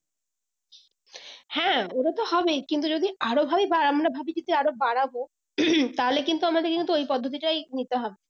হ্যাঁ ওটা তো হবেই কিন্তু যদি আরো ভাবে বা আমরা ভাবি যদি আরো বাড়াবো তাহলে কিন্তু আমাদের কিন্তু এই পদ্ধতিটাই নিতে হবে